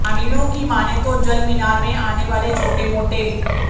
ग्रामीणों की माने तो जलमीनार में आने वाले छोटे मोटे